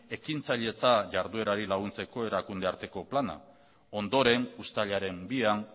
ekintzailetza jarduerari laguntzeko erakunde arteko plana ondoren uztailaren bian